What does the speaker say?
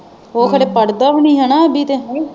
ਉਹ ਖਰੇ ਪੜਦਾ ਵੀ ਨਹੀਂ ਹਣਾ ਅਭੀ ਤੇ।